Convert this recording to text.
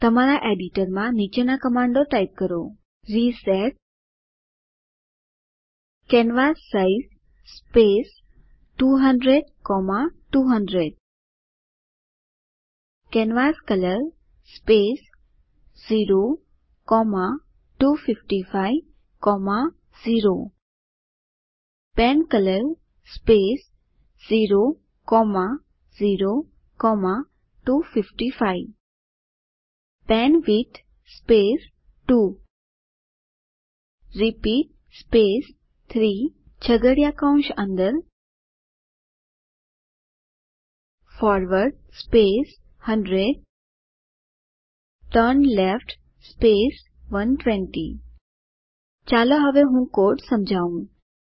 તમારા એડિટર માં નીચેના કમાન્ડો ટાઇપ કરો reset canvas size space 200200 canvas colour space 02550 pen colour space 00255 pen width space 2 repeat space 3 છગદિયા કૌશ અંદર ફોરવર્ડ 100 ટર્નલેફ્ટ 120 ચાલો હવે હું કોડ સમજાવું